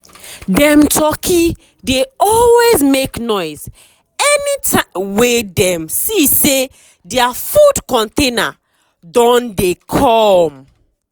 dem turkey dey always make noise anytime wey dem see say dia food container don dey come.